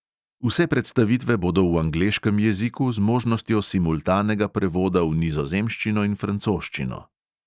Vse predstavitve bodo v angleškem jeziku z možnostjo simultanega prevoda v nizozemščino in francoščino.